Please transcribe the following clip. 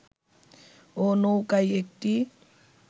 ও-নৌকায় একটি